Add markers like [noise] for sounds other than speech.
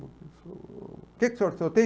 O [unintelligible] o que que o senhor senhor tem?